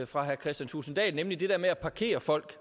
fra herre kristian thulesen dahl nemlig det der med at parkere folk